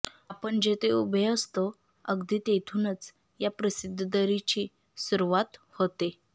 आपण जिथे उभे असतो अगदी तेथूनच या प्रसिद्ध दरीची सुरुवात होते